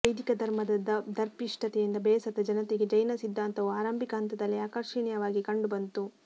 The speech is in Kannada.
ವೈದಿಕ ಧರ್ಮದ ದರ್ಪಿಷ್ತತೆಯಿಂದ ಬೇಸತ್ತ ಜನತೆಗೆ ಜೈನ ಸಿದ್ಧಾಂತವು ಆರಂಭಿಕ ಹಂತದಲ್ಲಿ ಆಕರ್ಷಿಣೀಯವಾಗಿ ಕಂಡುಬಂತು